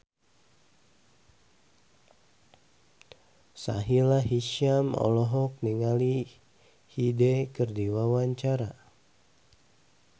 Sahila Hisyam olohok ningali Hyde keur diwawancara